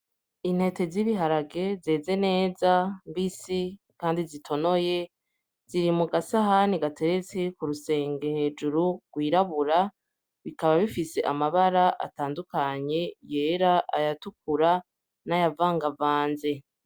Intete z'ibiharage zeze neza, mbisi kandi zitonoye ziri mu gasahani gateretse ku rusenge hejuru rwirabura bikaba bifise amabara atandukanye: ryera, ayatukura n'ayavangavanze.